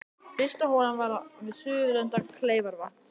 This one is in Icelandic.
Fyrsta holan var við suðurenda Kleifarvatns.